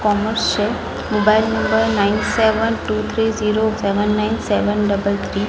Commerce છે mobile number nine seven two three zero seven nine seven double three .